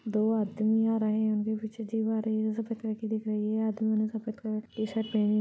दो आदमी आ रहे है उनके पीछे जिप आ रही है वो सफ़ेद कलर की दिख रही है आदमियों ने सफ़ेद कलर की टी_शर्ट पहनी--